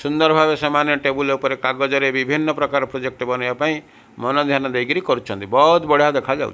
ସୁନ୍ଦର ଭାବରେ ସେମାନେ ଟେବୁଲ କାଗର ରେ ବିଭିନ୍ନ ପ୍ରକାରର ପ୍ରୋଜେକ୍ଟ ବନେ ବା ପାଇଁ ମାନ ଧ୍ୟାନ ଦେଇ କରୁଚନ୍ତି ବୋହୁତ ବଢ଼ିଆ ଦେଖାଯାଉ --